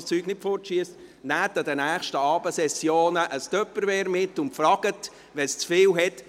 Nehmen Sie an den nächsten Abendsessionen ein Tupperware-Geschirr mit und fragen Sie, ob es zu viel hat.